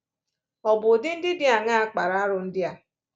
Ọ̀ bụ ụdị ndị dị aṅaa kpara arụ ndị a?